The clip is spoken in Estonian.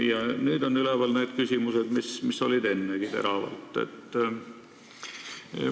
Ja nüüd on üleval küsimused, mis varemgi teravad olid.